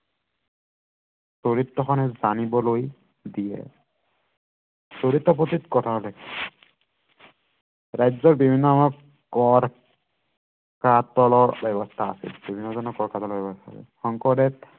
জানিবলৈ দিয়ে চৰিত পুঠিত কথা উল্লেখ আছে ৰাজ্যৰ বিভিন্ন কৰ কাতলৰ ব্য়ৱস্থা আছে শংকৰদেৱ